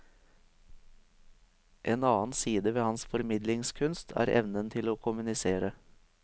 En annen side ved hans formidlingskunst er evnen til å kommunisere.